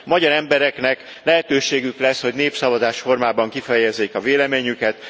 A magyar embereknek lehetőségük lesz, hogy népszavazás formájában kifejezzék a véleményüket.